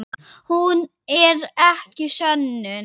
Hún er ekki sönnun.